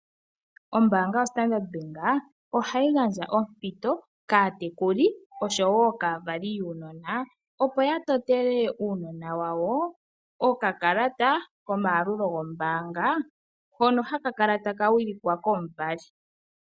Ombaanga yoStandard ohayi gandja ompito kaatekuli noshowo kaavali yuunona, opo ya totele uunona wawo okakalata komayalulo gombaanga hono haka kala taka wilikwa komuvali.